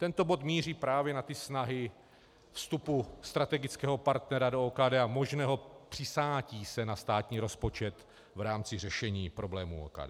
Tento bod míří právě na ty snahy vstupu strategického partnera do OKD a možného přisátí se na státní rozpočet v rámci řešení problémů OKD.